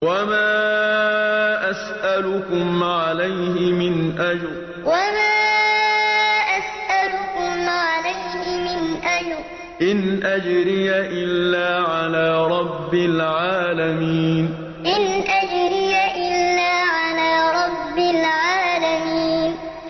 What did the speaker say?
وَمَا أَسْأَلُكُمْ عَلَيْهِ مِنْ أَجْرٍ ۖ إِنْ أَجْرِيَ إِلَّا عَلَىٰ رَبِّ الْعَالَمِينَ وَمَا أَسْأَلُكُمْ عَلَيْهِ مِنْ أَجْرٍ ۖ إِنْ أَجْرِيَ إِلَّا عَلَىٰ رَبِّ الْعَالَمِينَ